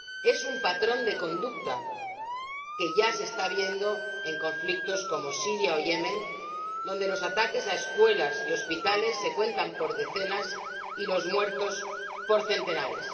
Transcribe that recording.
es un patrón de conducta que ya se está viendo en conflictos como los de Siria o Yemen, donde los ataques a escuelas y hospitales se cuentan por decenas y los muertos por centenares.